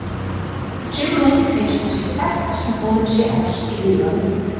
Kemur út eins og það sé þetta sem honum sé efst í huga núna.